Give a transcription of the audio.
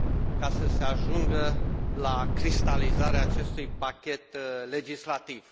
ca să se ajungă la cristalizarea acestui pachet legislativ.